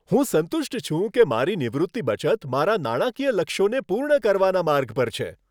હું સંતુષ્ટ છું કે મારી નિવૃત્તિ બચત મારા નાણાકીય લક્ષ્યોને પૂર્ણ કરવાના માર્ગ પર છે.